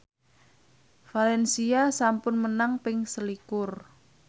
valencia sampun menang ping selikur